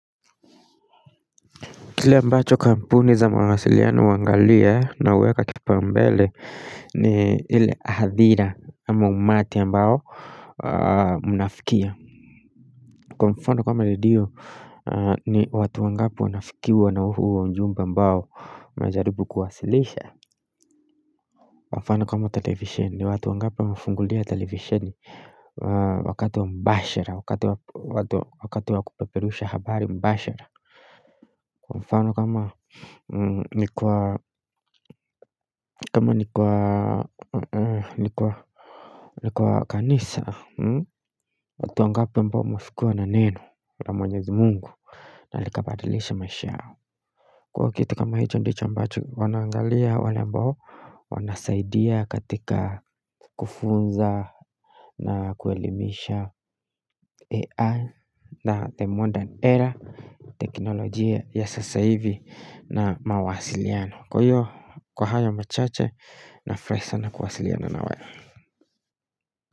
Kile ambacho kampuni za mawasiliano huangalia na hueka kipaumbele ni ile hadhira ama umati ambao mnafikia kwa mfano kama redio ni watu wangapi wanafikiwa na huo ujumbe ambao unajaribu kuwasilisha mfano kama televisheni ni watu wangapi wamefungulia televisheni wakati wa mbashara wakati wa wakati wa kupeperusha habari mbashara kwa mfano kama ni kwa kama ni kwa ni kwa ni kwa kanisa watu wangapi ambao wamefikiwa na neno la mwenyezi Mungu na likabadilisha maisha kwa kitu kama hicho ndicho ambacho wanaangalia wale ambao wanasaidia katika kufunza na kuelimisha AI na the modern era teknolojia ya sasa hivi na mawasiliano kwa hiyo kwa haya machache nafurahi sana kuwasiliana na wewe.